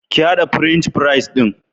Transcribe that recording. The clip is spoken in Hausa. Ki haɗa French fries ɗin.